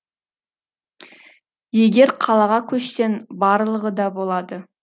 егер қалаға көшсең барлығы да болады